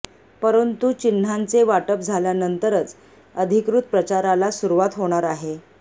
परंतु चिन्हांचे वाटप झाल्यानंतरच अधिकृत प्रचाराला सुरुवात होणार आहे